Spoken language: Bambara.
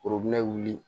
wuli